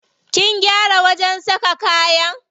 Kin gyara wajen saka kayan?